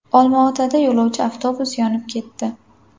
Olmaotada yo‘lovchi avtobus yonib ketdi.